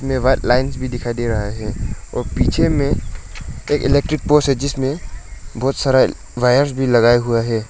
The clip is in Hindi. ये वाइट लाइंस भी दिखाई दे रहा है और पीछे में एक इलेक्ट्रिक पोल्स है जिसमें बहुत सारा वायर्स भी लगाए हुआ है।